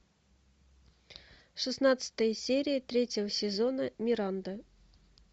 шестнадцатая серия третьего сезона миранда